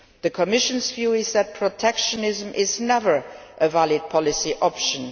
The Commission's view is that protectionism is never a valid policy option.